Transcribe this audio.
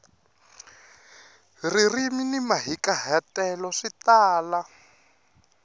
ririmi ni mahikahatelo swi tala